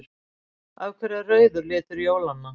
Af hverju er rauður litur jólanna?